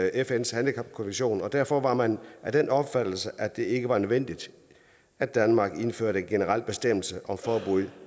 fns handicapkonvention og derfor var man af den opfattelse at det ikke var nødvendigt at danmark indførte en generel bestemmelse om forbud